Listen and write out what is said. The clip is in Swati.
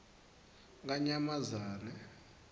kanyamazane